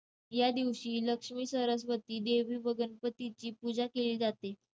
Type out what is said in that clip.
यादिवशी लक्ष्मी, सरस्वती देवी व गणपतीची पूजा के~ जाते.